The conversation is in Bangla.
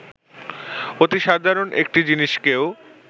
অতি সাধারণ একটি জিনিসকেও